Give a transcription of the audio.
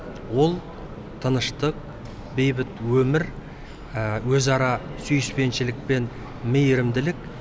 ол тыныштық бейбіт өмір өзара сүйіспеншілік пен мейірімділік